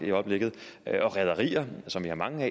i øjeblikket det er rederierne som vi har mange